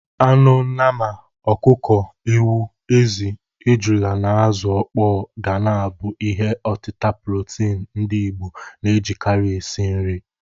Anụ nnama, ọkụkọ, ewu, ezi, ejula na azu ọkpọ ga na-abụ ihi ọtịta protini ndị Igbo na-ejikarị esi nri.